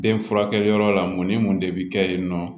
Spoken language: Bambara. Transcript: Den furakɛyɔrɔ la mun ni mun de bɛ kɛ yen nɔ